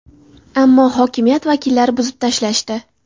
Ammo hokimiyat vakillari buzib tashlashdi.